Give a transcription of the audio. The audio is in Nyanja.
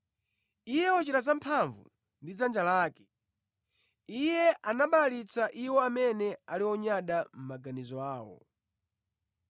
Iye wachita zamphamvu ndi dzanja lake; Iye anabalalitsa iwo amene ali onyada mʼmaganizo awo.